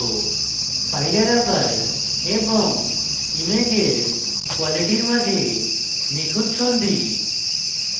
file আকার এবং ইমেজের quality মাঝে নিখুঁত সন্ধি